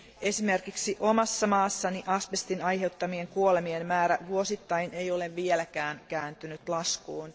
Esimerkiksi omassa maassani asbestin aiheuttamien kuolemien määrä vuosittain ei ole vieläkään kääntynyt laskuun.